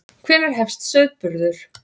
Hvenær hefst sauðburður?